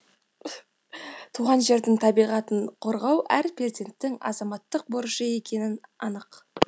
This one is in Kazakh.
туған жердің табиғатын қорғау әр перзенттің азаматтық борышы екені анық